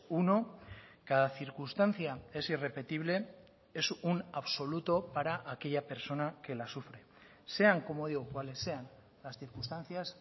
uno cada circunstancia es irrepetible es un absoluto para aquella persona que la sufre sean como digo cuales sean las circunstancias